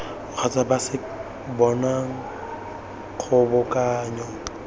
kgotsa ba se bonang kgobokanyo